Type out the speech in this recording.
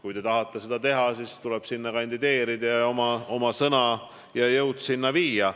Kui te tahate seda teha, siis tuleb sinna kandideerida ning oma sõnad ja jõud sinna viia.